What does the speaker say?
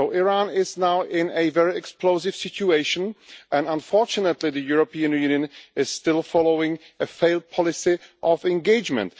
So Iran is now in a very explosive situation and unfortunately the European Union is still following a failed policy of engagement.